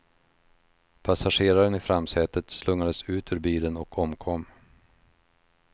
Passageraren i framsätet slungades ut ur bilen och omkom.